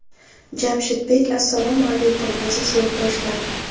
Jamshid Bik Assalomu alaykum, aziz yurtdoshlar.